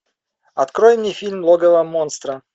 открой мне фильм логово монстра